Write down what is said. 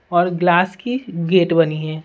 और ग्लास की गेट बनी है।